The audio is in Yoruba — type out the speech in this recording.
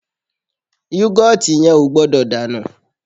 Yọ́gọ̀tì yẹn ò gbọ́dọ̀ dànù